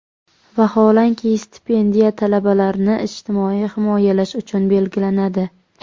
Vaholanki, stipendiya talabalarni ijtimoiy himoyalash uchun belgilanadi.